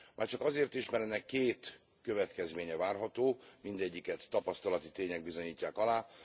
Már csak azért is, mert ennek két következménye várható, mindegyiket tapasztalati tények bizonyítják alá.